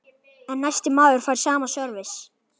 En næsti maður fær sama sörvis.